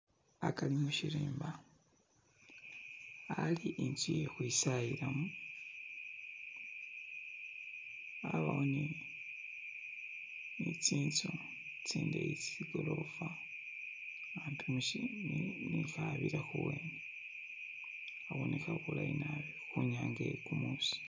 Hakari mushirimba hali inzu ye kwisayilamo habawo ni tsinzu tsindeyi tsigolofa, hagamishi habira khuwene khaboneka bulayi nabi khunyanga ye kumusi.